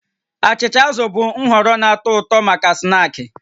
Achịcha azụ bụ nhọrọ na-atọ ụtọ maka snaakị